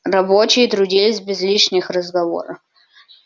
рабочие трудились без лишних разговора